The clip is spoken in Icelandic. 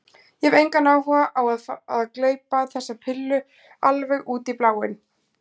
Ég hef engan áhuga á að fara að gleypa þessa pillu alveg út í bláinn.